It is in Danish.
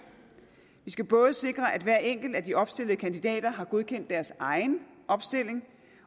vi skal både sikre at hver enkelt af de opstillede kandidater har godkendt deres egen opstilling